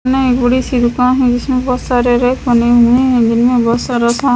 यहाँ एक छोटी सी दुकान है जिसमे बहुत सारे रैक बने हुए है जिनमे बहुत सारा सामान--